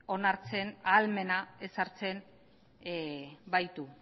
onartzen ahalmena ezartzen baitu